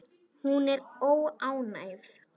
Hún er óánægð.